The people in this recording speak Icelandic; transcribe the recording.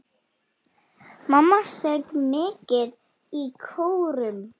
Mamma söng mikið í kórum.